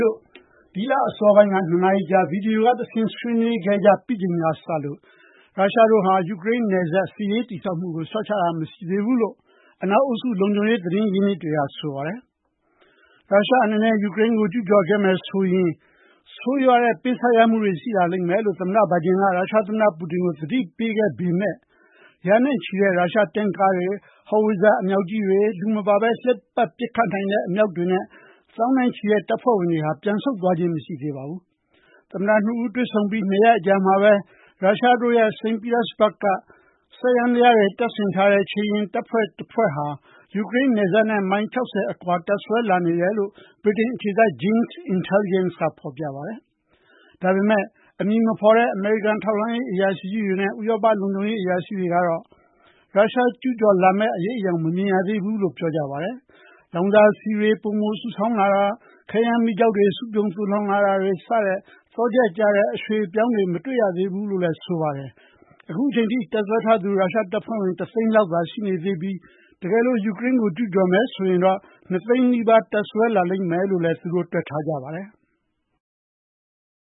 တို့ ဒီလ အစောပိုင်းက ၂ နာရီကြာ ဗွီဒီယို က တဆင့် ဆွေးနွေးခဲ့ကြပြီးချိန်က စလို့ ရုရှားတို့ဟာ ယူကရိန်းနယ်စပ် စစ်ရေး တည်ဆောက်မှုကို လျှော့ချတာ မရှိသေးဘူးလို့ အနောက် အုပ်စု လုံခြုံရေး သတင်းရင်းမြစ်တွေက ဆိုပါတယ်။ ရုရှား အနေနဲ့ ယူကရိန်းကို ကျူးကျော်ခဲ့ရင် ဆိုးရွားတဲ့ ပေးဆပ်ရမှုတွေ ရှိလာလိမ့်မယ်လို့ သမ္မတ Biden က ရုရှား သမ္မတ Putin ကို သတိပေးခဲ့ပေမဲ့ ရာနဲ့ချီတဲ့ ရုရှား တင့်ကားတွေ၊ howitzer အမြောက်ကြီးတွေ၊ လူမပါဘဲ လှည့်ပတ် ပစ်ခတ်နိုင်တဲ့ အမြောက်တွေနဲ့ သောင်းနဲ့ချီတဲ့ တပ်ဖွဲ့ဝင်တွေဟာ ပြန်ဆုတ်သွားခြင်း မရှိသေးပါဘူး။ သမ္မတ နှစ်ဦး တွေ့ဆုံပြီး ၂ ရက်အကြာမှာဘဲ ရုရှားရဲ့ စိန့်ပီတာစဘာဂ့်မြို့က စက်ယန္တရားတွေ တပ်ဆင်ထားတဲ့ ခြေလျင်တပ်ဖွဲ့တွေဟာ ယူကရိန်း နယ်စပ်နဲ့ မိုင် ၆၀ အကွာမှာ တပ်စွဲလာတယ်လို့ ဗြိတိန် အခြေစိုက် Janes Intelligence ကုမ္ပဏီက ဖော်ပြပါတယ်။ ဒါပေမဲ့ အမည်မဖော်တဲ့ အမေရိကန် ထောက်လှမ်းရေး အရာရှိတွေနဲ့ ဥရောပ လုံခြုံရေး အရာရှိတွေကတော့ ရုရှား အနေနဲ့ ကျူးကျော်မဲ့ အရိပ်အယောင် မမြင်ရသေးဘူးလို့ ပြောကြပါတယ်။ လောင်စာဆီတွေ ပိုမိုစုဆောင်းတာ၊ ခဲယမ်းမီးကျောက် စုပြုံ သိုလှောင်တာတွေလို သော့ချက်ကျတဲ့ အရွှေ့အပြောင်းတွေ မတွေ့ရသေးဘူးလို့လည်း ဆိုပါတယ်။ အခုအချိန်ထိ တပ်စွဲထားသူ ရုရှား တပ်ဖွဲ့ဝင် ၁ သိန်းအောက်သာ ရှိနေသေးပြီး တကယ်လို့ ယူကရိန်းကို ကျူးကျော်မယ် ဆိုရင်တော့ ၂ သိန်း နီးပါး တပ်စွဲထားလိမ့်မယ်လို့လည်း တွက်ထားကြပါတယ်။